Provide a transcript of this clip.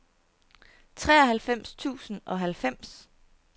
treoghalvfems tusind og halvfems